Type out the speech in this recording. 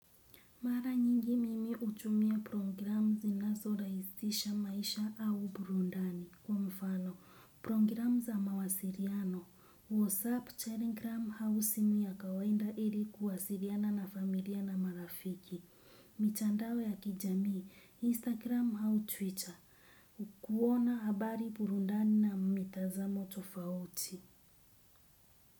Mara nyingi mimi hutumia programu zinazorahisisha maisha au burudani, kwa mfano. Programu za mawasiliano, WhatsApp, Telegram, au simu ya kawaida ili kuwasiliana na familia na marafiki. Mitandao ya kijamii, Instagram au Twitter, kuona habari, burudani na mitazamo tofauti.